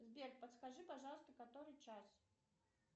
сбер подскажи пожалуйста который час